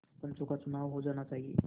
पंचों का चुनाव हो जाना चाहिए